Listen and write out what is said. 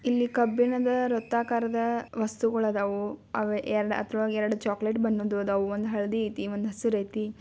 ಇಲ್ಲಿ ಕಬ್ಬಿಣದ ವೃತಾಕಾರದ ವಸ್ತುಗಳು ಅದವು ಅವು ಎರಡು ಅಥವಾ ಎರಡು ಚೊಕ್ಲೆಟ್ ಬಣ್ನನ್ದ್ದು ಅದಾವು ಒಂದ್ ಹಳದಿ ಐತಿ ಒಂದ್ ಹಸಿರು ಐತಿ.